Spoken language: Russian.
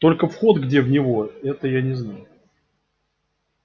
только вход где в него это не знаю